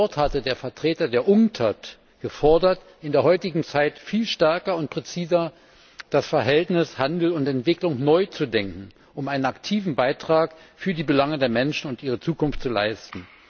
Dort hatte der Vertreter der Unctad gefordert, in der heutigen Zeit viel stärker und präziser das Verhältnis Handel und Entwicklung neu zu denken, um einen aktiven Beitrag für die Belange der Menschen und ihre Zukunft zu leisten.